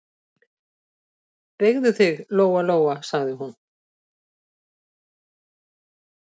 Beygðu þig, Lóa-Lóa, sagði hún.